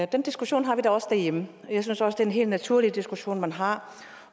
diskussion har vi da også derhjemme jeg synes også en helt naturlig diskussion man har